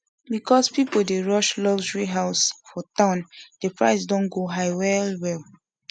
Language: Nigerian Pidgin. because people dey rush luxury house for town the price don go high well well